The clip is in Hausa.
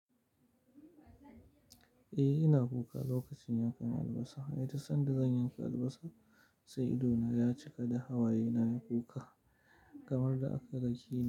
Eh, ina kuka lokacin yankan albasa. Ai duk sanda zan yanka albasa, sai ido na ya cika da hawaye nayi kuka kamar da aka dakeni.